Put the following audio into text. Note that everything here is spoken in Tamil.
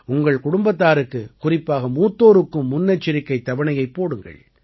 உங்கள் குடும்பத்தாருக்கு குறிப்பாக மூத்தோருக்கும் முன்னெச்சரிக்கைத் தவணையைப் போடுங்கள்